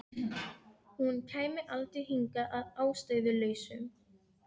Hún var grátbólgin í andliti og enn snöktandi.